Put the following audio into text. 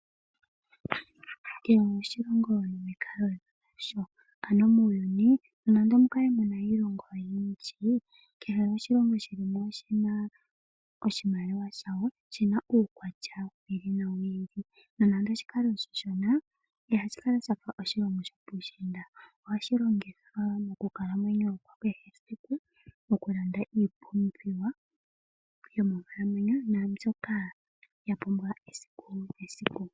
Kehe oshilongo nomikalo dha sho. Muuyuni nonando omu kale mu na iilongo oyindji kehe oshilongo shi li mo oshi na oshimaliwa sha sho shi na uukwatya wi ili nowi ili. Nonando oshi kale oshishona ihashi kala sha fa shopuushiinda. Ohashi longithwa owala mokulamwenyo kwa kehe esiku mokulanda iipumbiwa yomonkalamwenyo naambyoka ya pumbiwa esiku nesiku.